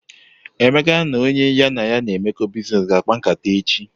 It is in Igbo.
Emeka na onye ya na ya na emeko biznes ga akpa nkata eji.